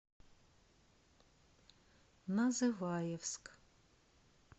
называевск